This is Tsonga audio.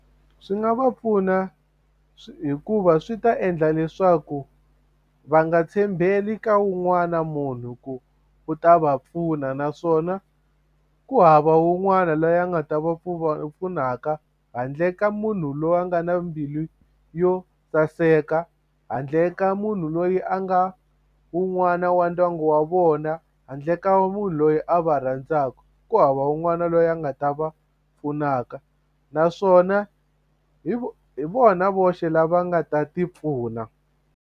Swi nga va pfuna hikuva swi ta endla leswaku va nga tshembeli ka wun'wana munhu ku u ta va pfuna naswona ku hava un'wana loyi a nga ta va pfunaka handle ka munhu loyi a nga na mbilu yo saseka handle ka munhu loyi a nga wun'wana wa ndyangu wa vona handle ka munhu loyi a va rhandzaka ku hava un'wana loyi a nga ta va pfunaka naswona hi hi vona voxe lava nga ta ti pfuna.